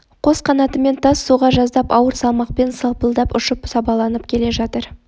қос қанатымен тас соға жаздап ауыр салмақпен салпылдап ұшып сабаланып келе жатыр